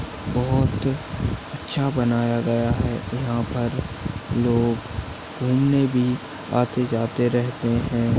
बहुत अच्छा बनाया गया है। यहाँ पर लोग घूमने भी आते जाते रहते है।